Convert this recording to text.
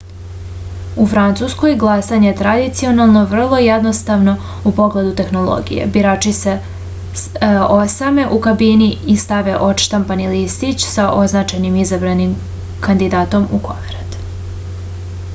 u francuskoj glasanje je tradicionalno vrlo jednostavno u pogledu tehnologije birači se osame u kabini i stave odštampani listić sa označenim izabranim kandidatom u koverat